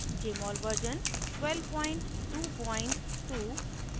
* jmol version 1222